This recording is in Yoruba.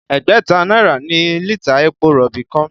Ẹgbẹ̀ta náírà ni lítà epo rọ̀bì kan